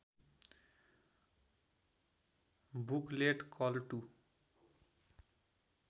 booklet कल to